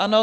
Ano.